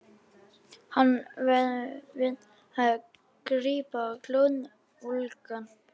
Hann verðum við að grípa glóðvolgan.